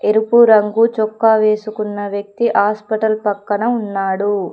ఎరుపు రంగు చొక్కా వేసుకున్న వ్యక్తి హాస్పిటల్ పక్కన ఉన్నాడు.